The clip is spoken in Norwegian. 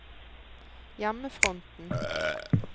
hjemmefronten